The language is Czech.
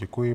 Děkuji.